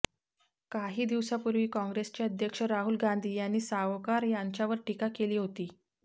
काही दिवसापूर्वी काँग्रेसचे अध्यक्ष राहुल गांधी यांनी सावकार यांच्यावर टीका केली होती